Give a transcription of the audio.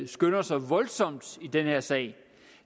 skynder sig voldsomt i den her sag det